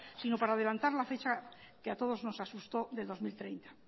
sino para adelantar la fecha que a todos nos asustó del dos mil treinta